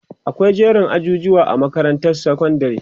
akwai jerin ajujuwa a makarantar sekondari